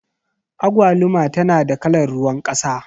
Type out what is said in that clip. Agwaluma tana da kalar ruwan ƙasa.